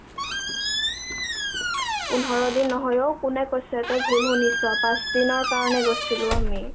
পোন্ধৰ দিন নহয় অ কোনে কৈছে তই ভুল শুনিছ পাঁচ দিনৰ্ কাৰণে গৈছিলো আমি ।